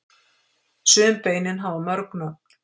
sum beinin hafa mörg nöfn